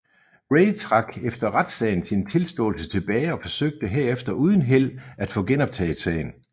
Ray trak efter retssagen sin tilståelse tilbage og forsøgte herefter uden held at få genoptaget sagen